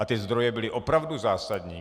A ty zdroje byly opravdu zásadní.